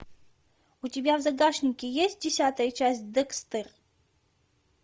у тебя в загашнике есть десятая часть декстер